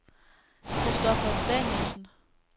Christopher Danielsen